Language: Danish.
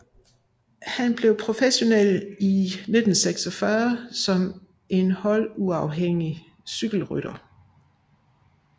Han blev professionel i 1946 som en holduafhængig cykelrytter